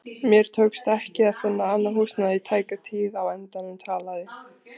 Mér tókst ekki að finna annað húsnæði í tæka tíð og á endanum talaði